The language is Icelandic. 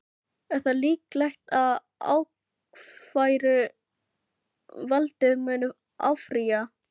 Er þá líklegt að ákæruvaldið muni áfrýja?